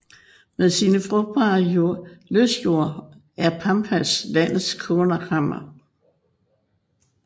Med sine frugtbare løsjorder er Pampas landets kornkammer